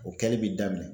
O kɛli bi daminɛ